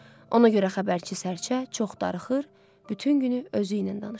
Ona görə xəbərçi sərçə çox darıxır, bütün günü özü ilə danışır.